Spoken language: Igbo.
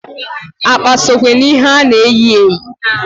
Akpa sokwe na ihe a na-eyi eyi.